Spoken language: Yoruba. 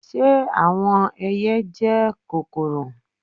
Ṣe awọn ẹiyẹ jẹ kokoro?